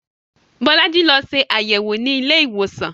Bolaji lọ ṣe àyẹ̀wò nílé ìwòsàn